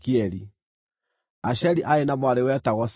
(Asheri aarĩ na mwarĩ wetagwo Sera.)